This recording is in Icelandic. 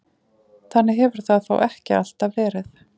Þannig hefur það þó ekki alltaf verið.